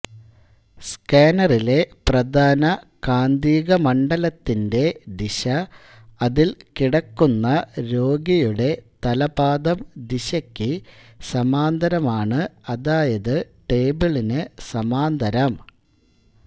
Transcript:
സ്കാനറിലെ പ്രധാന കാന്തികമണ്ഡലത്തിന്റ ദിശ അതിൽ കിടക്കുന്ന രോഗിയുടെ തലപാദം ദിശയ്ക്ക് സമാന്തരമാണ്അതായത് ടേബിളിനു സമാന്തരം